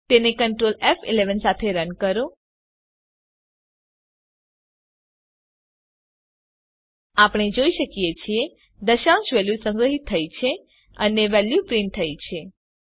તેને કન્ટ્રોલ ફ11 સાથે રન કરો આપણે જોઈ શકીએ છીએ દશાંશ વેલ્યુ સંગ્રહીત થઇ છે અને વેલ્યુ પ્રીંટ થઇ છે